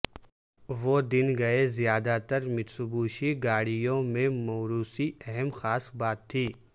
وہ دن گئے زیادہ تر متسوبشی گاڑیوں میں موروثی اہم خاص بات تھی